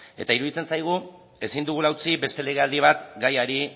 eta iruditzen zaigu ezin dugula utzi beste legealdi bat gaiari